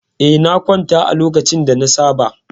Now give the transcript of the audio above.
Eh, na kwanta a lokacin da na saba.